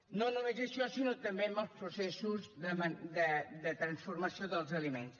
no només això sinó també en els processos de transformació dels aliments